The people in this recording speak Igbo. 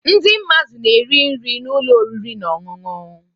Ndị mmadụ na-eri nri na ụlọ oriri na ọṅụṅụ.